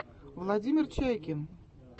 владимир чайкин